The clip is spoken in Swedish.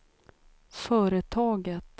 företaget